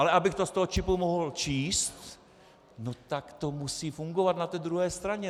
Ale abych to z toho čipu mohl číst, no tak to musí fungovat na té druhé straně.